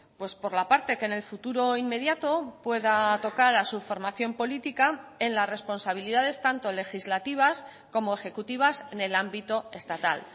pues por la parte que en el futuro inmediato pueda tocar a su formación política en las responsabilidades tanto legislativas como ejecutivas en el ámbito estatal